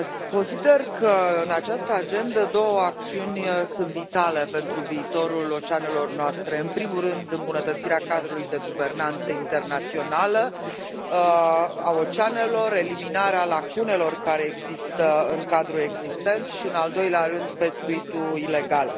Consider că în această agendă două acțiuni sunt vitale pentru viitorul oceanelor noastre în primul rând, îmbunătățirea cadrului de guvernanță internațională a oceanelor, eliminarea lacunelor care există în cadrul existent și, în al doilea rând, pescuitul ilegal.